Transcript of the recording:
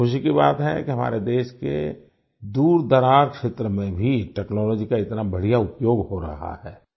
और खुशी की बात है कि हमारे देश के दूरदराज क्षेत्र में भी टेक्नोलॉजी का इतना बढ़िया उपयोग हो रहा है